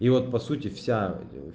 и вот по сути вся